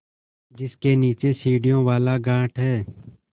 जिसके नीचे सीढ़ियों वाला घाट है